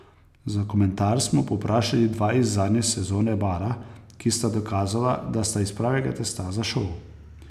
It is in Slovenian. Za komentar smo povprašali dva iz zadnje sezone Bara, ki sta dokazala, da sta iz pravega testa za šov.